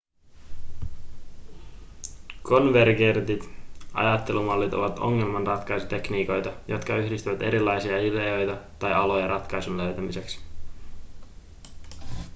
konvergentit ajattelumallit ovat ongelmanratkaisutekniikoita jotka yhdistävät erilaisia ideoita tai aloja ratkaisun löytämiseksi